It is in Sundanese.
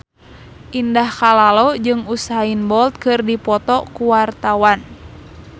Indah Kalalo jeung Usain Bolt keur dipoto ku wartawan